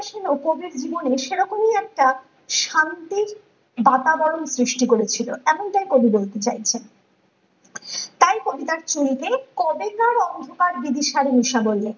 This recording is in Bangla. সেনও, কবির জীবনে সেরকমই একটা শান্তি বাতাবরণ সৃষ্টি করেছিল এমনটাই কবি বলতে চাইছেন ।তাই কবিতার ছন্দে কবেকার অন্ধকার বিবিসির নিশা বললেন